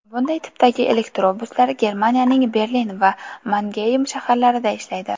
Bunday tipdagi elektrobuslar Germaniyaning Berlin va Mangeym shaharlarida ishlaydi.